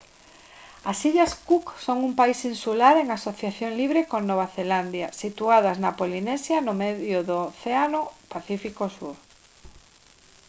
as illas cook son un país insular en asociación libre con nova zelandia situadas na polinesia no medio do océano pacífico sur